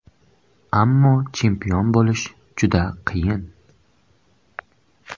Ammo chempion bo‘lish juda qiyin.